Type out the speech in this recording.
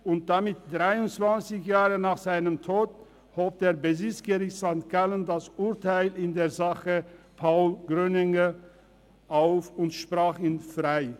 1995, und damit 23 Jahre nach seinem Tod, hob das Bezirksgericht St. Gallen das Urteil in der Sache Paul Grüninger auf und sprach ihn frei.